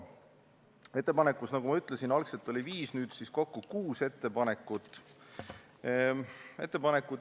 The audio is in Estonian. Ettepanekuid, nagu ma ütlesin, oli algselt viis, nüüd on neid kokku kuus.